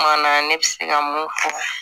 Kuma na ne bɛ se ka mun fɔ